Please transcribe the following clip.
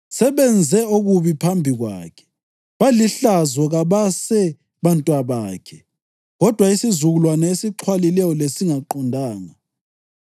Sebenze okubi phambi kwakhe; balihlazo kabase bantwabakhe, kodwa isizukulwane esixhwalileyo lesingaqondanga.